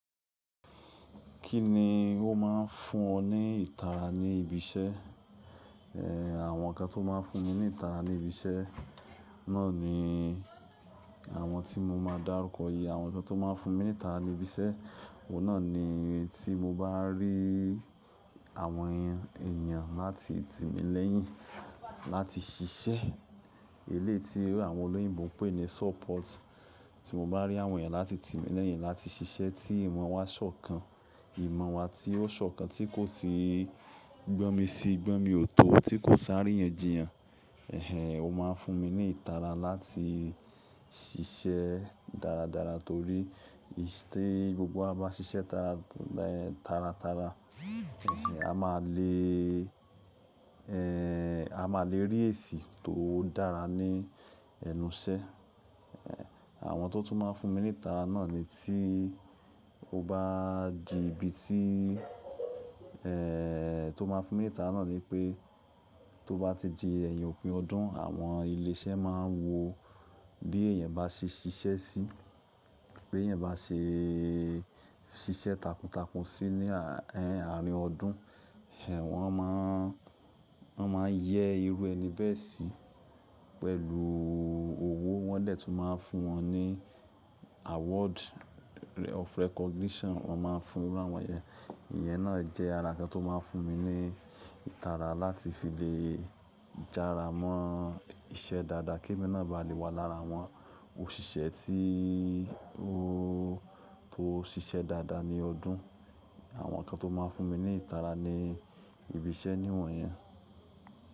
Kí ni ó máa ń fún ọ ní ìtara ní ibi iṣẹ́? Èh, àwọn nǹkan tó máa ń fún mi ní ìtara ní ibi iṣẹ́ náà ni àwọn tí mo máa dárúkọ yìí. Àwọn nǹkan tó máa ń fún mi ní ìtara ní ibi iṣẹ́, òun náà ni tí mo bá rí àwọn èèyàn láti tímílẹ́yìn láti ṣiṣẹ́. Eléyìí tí àwọn olóyìnbo ń pè ní support. Tí mo bá rí àwọn èèyàn láti tímí lẹ́yìn láti ṣiṣẹ́ tí ìmọ̀ wa sọ́kàn. Ìmọ̀ wa tí ó sọ́kàn, tí kò sì gbọ́ mi sí, gbọ́ mi ò tó, tí kò sá rí yàn jiyàn. Èhèn, ó máa ń fún mi ní ìtara láti ṣiṣẹ́ dáradára torí tí gbogbo wa bá ṣiṣẹ́ tara, tara tara, èhèn, a máa le è, a máa lè rí èsì tó dára ní ẹnu iṣẹ́. Àwọn tó tún máa ń fún mi ní ìtara náà ni tí ó bá di ibi tí, tó máa ń fún mi ní ìtara náà ni pé tó bá ti di ẹ̀yìn òpin ọdún, àwọn ilé iṣẹ́ máa wo bí èèyàn bá ṣe ṣiṣẹ́ sí, pé èèyàn bá ṣe ṣiṣẹ́ takuntakun sí ní àárín ọdún. Ẹ̀ wọ̀n máa ń, wọ́n máa yẹ irú ẹni bẹ́ẹ̀ sí pẹ̀lú owó. Wọ́n dẹ̀ tún máa fún wọn ní award of recognition. Wọ́n máa ń fún iru àwọn èèyàn. Ìyẹn náà jẹ́ ara nǹkan tó máa ń fún mi ní ìtara láti fi lè jara mọ́ iṣẹ́ dáadáa. Kí èmi náà ba à lè wà lára àwọn òṣìṣẹ́ tí ó tó ṣiṣẹ́ dáadáa ní ọdún. Àwọn nǹkan tó máa ń fún mi ní ìtara ní ibi iṣẹ́ ni àwọn iyen.